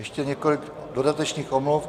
Ještě několik dodatečných omluv.